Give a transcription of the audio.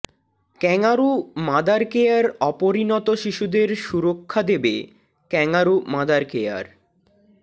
kangaroo mother care অপরিণত শিশুদের সুরক্ষা দেবে ক্যাঙারু মাদার কেয়ার